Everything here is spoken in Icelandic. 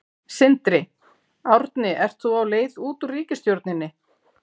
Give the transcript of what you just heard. Sindri: Árni ert þú á leið út úr ríkisstjórninni?